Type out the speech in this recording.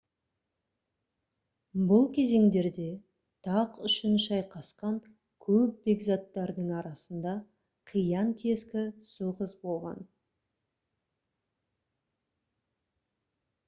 бұл кезеңдерде тақ үшін шайқасқан көп бекзаттардың арасында қиян-кескі соғыс болған